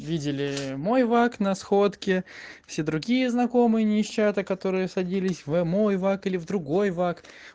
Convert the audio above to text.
видели мой вок на сходке все другие знакомые не из чата которые садились в мой вак или в другой вак